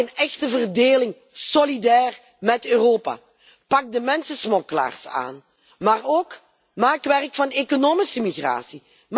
Maak een echte verdeling, solidair met Europa. Pak de mensensmokkelaars aan, maar ook maak werk van economische migratie.